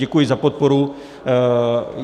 Děkuji za podporu.